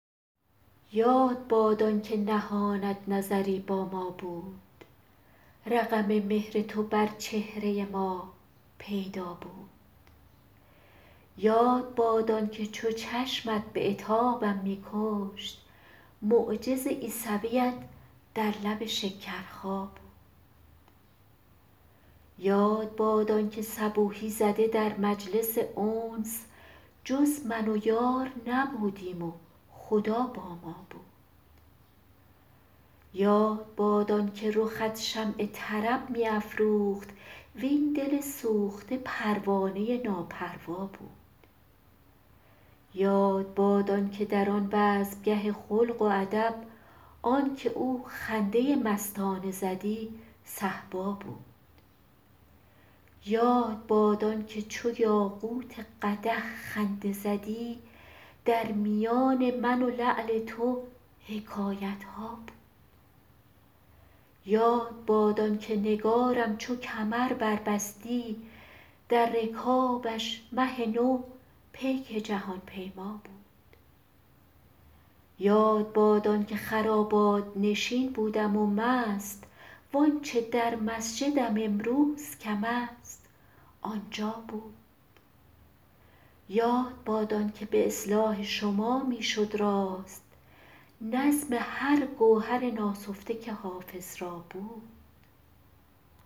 یاد باد آن که نهانت نظری با ما بود رقم مهر تو بر چهره ما پیدا بود یاد باد آن که چو چشمت به عتابم می کشت معجز عیسویت در لب شکرخا بود یاد باد آن که صبوحی زده در مجلس انس جز من و یار نبودیم و خدا با ما بود یاد باد آن که رخت شمع طرب می افروخت وین دل سوخته پروانه ناپروا بود یاد باد آن که در آن بزمگه خلق و ادب آن که او خنده مستانه زدی صهبا بود یاد باد آن که چو یاقوت قدح خنده زدی در میان من و لعل تو حکایت ها بود یاد باد آن که نگارم چو کمر بربستی در رکابش مه نو پیک جهان پیما بود یاد باد آن که خرابات نشین بودم و مست وآنچه در مسجدم امروز کم است آنجا بود یاد باد آن که به اصلاح شما می شد راست نظم هر گوهر ناسفته که حافظ را بود